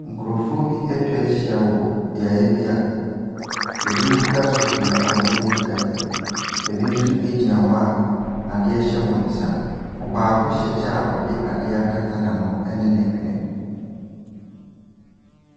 Nkurɔfoɔ bi atwa ayhia bi a binom kura sofi a wɔde ɛrete gutter mu, bi nso gyina hɔ a ade hyɛ wɔn nsa. Ɔbaako hyɛ kyɛ a ɔde adeɛ akata n’ano ne ne hwene.